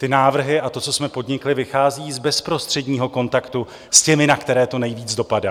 Ty návrhy a to, co jsme podnikli, vychází z bezprostředního kontaktu s těmi, na které to nejvíce dopadá.